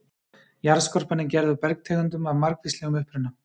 Jarðskorpan er gerð úr bergtegundum af margvíslegum uppruna.